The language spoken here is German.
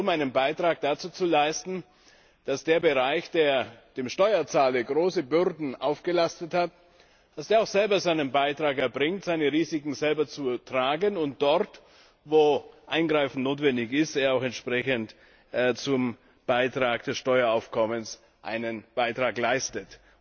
Es geht darum, einen Beitrag dazu zu leisten, dass der Bereich, der dem Steuerzahler große Bürden aufgelastet hat, selber seinen Beitrag dazu erbringt, seine Risiken selber zu tragen, und dort, wo Eingreifen notwendig ist, er auch entsprechend zum Steueraufkommen einen Beitrag leistet.